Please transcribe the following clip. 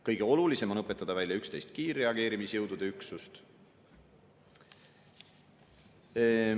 Kõige olulisem on õpetada välja 11 kiirreageerimisjõudude üksust.